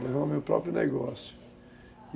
levar o meu próprio negócio, e